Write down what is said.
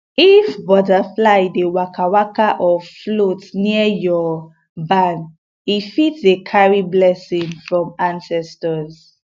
if butterfly dey wakawaka or float near your barn e fit dey carry blessing from ancestors